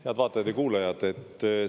Head vaatajad ja kuulajad!